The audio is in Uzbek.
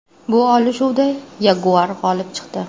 Bu olishuvda yaguar g‘olib chiqdi.